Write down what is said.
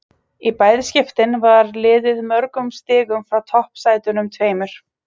Í bæði skiptin var liðið mörgum stigum frá toppsætunum tveimur.